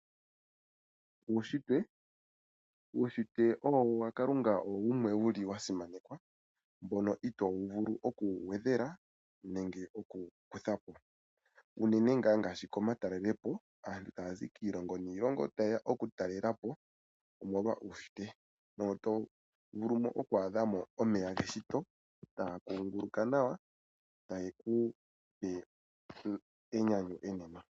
Uushitwe, uushitwe wa kalunga owo wumwe wu li wa simanekwa, mono wu li itoo vulu oku wu gwedhela, nenge oku wu kuthapo. Unene ngaa ngaashi komatalelepo, aantu ta ya zi kiilongo niilongo ta yeya oku talelapo omolwa uushitwe, mono ta ya vulu oku adhamo omeya geshito ta ga kunguluka nawa, ta ge ku pe enyanyu enene.